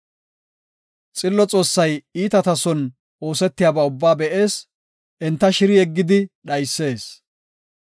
Xillo Xoossay iitata son oosetiyaba ubbaa be7ees; enta shiri yeggidi dhaysees.